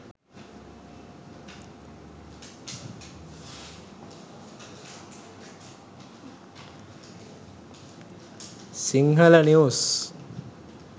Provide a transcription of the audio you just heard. sinhala news